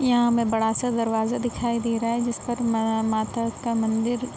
यहाँ हमें बडा-सा दरवाजा दिखाई दे रहा है जिसपर मम माता का मंदिर --